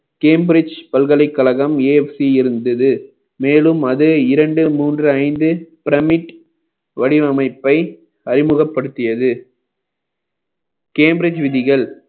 cambridge பல்கலைக்கழகம் AFC இருந்தது மேலும் அது இரண்டு மூன்று ஐந்து pyramid வடிவமைப்பை அறிமுகப்படுத்தியது cambridge விதிகள்